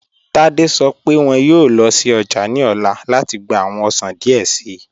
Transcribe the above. Tádé sọ̀ pẹ wọn yọọ lọ sí ọjà ni ọla láti gbà awọn ọṣàn díẹ̀ sìí